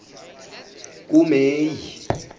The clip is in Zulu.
kumeyi